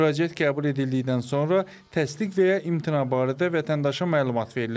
Müraciət qəbul edildikdən sonra təsdiq və ya imtina barədə vətəndaşa məlumat verilir.